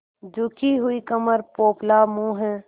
झुकी हुई कमर पोपला मुँह